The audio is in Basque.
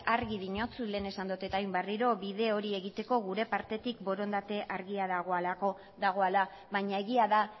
argi diotsut lehen esan dut eta orain berriro bide hori egiteko gure partetik borondate argia dagoela baina egia da